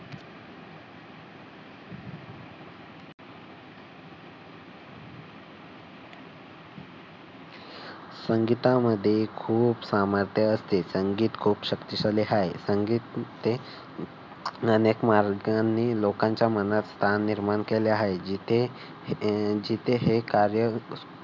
संगीता मध्ये खूप सामर्थ्य असते. संगीत खूप शक्तिशाली आहे. संगीत अनेक मार्गाने लोकांच्या मनात स्थान निर्माण केले आहे. जिथे हे कार्य